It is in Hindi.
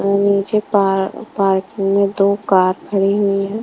नीचे पा पार्किंग में दो कार खड़ी हुई हैं।